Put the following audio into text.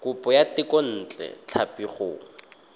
kopo ya thekontle tlhapi go